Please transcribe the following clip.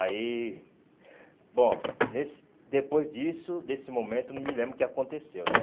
Aí... Bom, nesse depois disso, desse momento, não me lembro o que aconteceu, né?